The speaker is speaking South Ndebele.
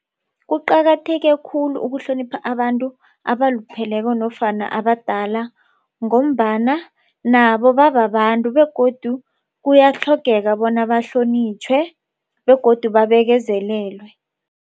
Kuqakatheke khulu ukuhlonipha abantu abalupheleko nofana abadala ngombana nabo bababantu begodu kuyatlhogeka bona bahlonitjhwe begodu babekezelelwe.